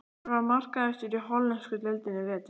Hver var markahæstur í hollensku deildinni í vetur?